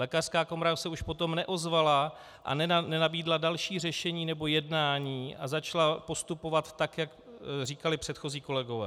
Lékařská komora se už potom neozvala a nenabídla další řešení nebo jednání a začala postupovat tak, jak říkali předchozí kolegové.